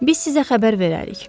Biz sizə xəbər verərik.